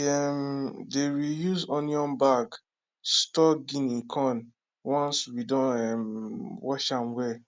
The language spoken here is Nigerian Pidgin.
we um dey reuse onion bag store guinea corn once we don um wash am well